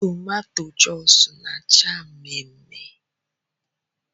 Toomatoea Joosu na -acha mmee mmee